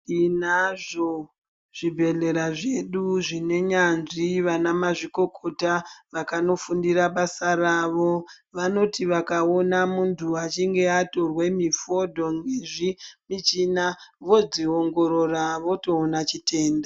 Tinazvo zvibhedhlera zvedu, zvinenyanzvi, vanamazvikokota vakanofundira basa ravo. Vanoti vakawona muntu achinge atorwe mifodo ngezvimichina, vodziwongorora votowona chitenda.